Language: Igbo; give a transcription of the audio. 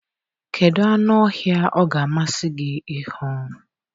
Kedu anụ ọhịa ọ ga-amasị gị ịhụ?